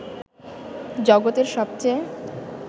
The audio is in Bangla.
জগতের সবচেয়ে